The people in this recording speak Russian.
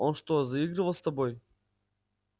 он что заигрывал с тобой